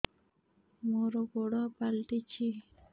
ମୋର ଗୋଡ଼ ପାଲଟିଛି